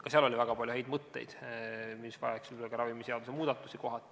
Ka seal oli väga palju häid mõtteid, mis vajaksid ka kohati ravimiseaduse muudatusi.